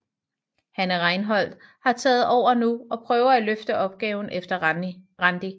Hanne Reinholt har taget over nu og prøver at løfte opgaven efter Randi